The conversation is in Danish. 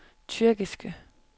tyrkiske